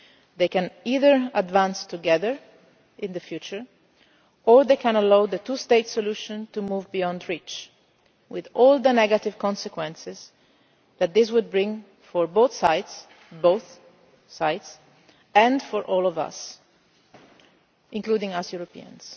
decisions. They can either advance together in the future, or they can allow the two state solution to move beyond reach, with all the negative consequences that would bring for both sides and for all of us, including us